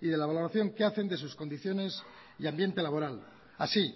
y de la valoración que hacen de sus condiciones y ambiente laboral así